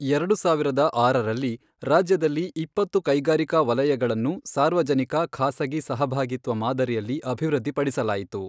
ಎರಡು ಸಾವಿರದ ಆರರಲ್ಲಿ, ರಾಜ್ಯದಲ್ಲಿ ಇಪ್ಪತ್ತು ಕೈಗಾರಿಕಾ ವಲಯಗಳನ್ನು ಸಾರ್ವಜನಿಕ, ಖಾಸಗಿ ಸಹಭಾಗಿತ್ವ ಮಾದರಿಯಲ್ಲಿ ಅಭಿವೃದ್ಧಿಪಡಿಸಲಾಯಿತು.